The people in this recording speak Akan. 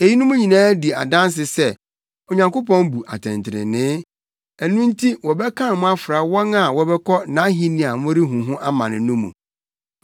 Eyinom nyinaa di adanse sɛ Onyankopɔn bu atɛntrenee; ɛno nti wɔbɛkan mo afra wɔn a wɔbɛkɔ nʼahenni a morehu ho amane no mu.